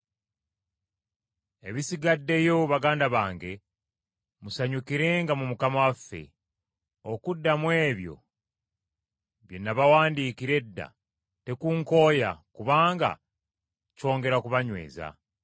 Ebisigaddeyo, baganda bange, musanyukirenga mu Mukama waffe. Okuddamu ebyo bye nnabawandiikira edda tekunkooya kubanga kyongera kubanyweza.